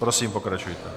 Prosím, pokračujte.